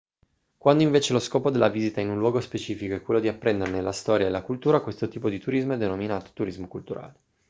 quando invece lo scopo della visita in un luogo specifico è quello di apprenderne la storia e la cultura allora questo tipo di turismo è denominato turismo culturale